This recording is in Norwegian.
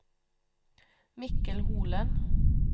Mikkel Holen